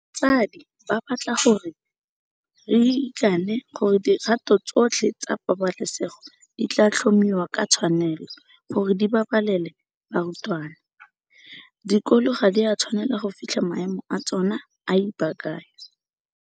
Batsadi ba batla gore re ikane gore dikgato tsotlhe tsa pabalesego di tla tlhomiwa ka tshwanelo gore di babalele barutwana. Dikolo ga di a tshwanela go fitlha maemo a tsona a ipaakanyo.